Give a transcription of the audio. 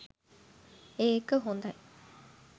ඒක හොඳයි